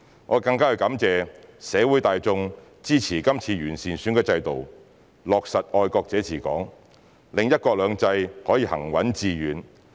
我更感謝社會大眾支持今次完善選舉制度和落實"愛國者治港"，令"一國兩制"行穩致遠。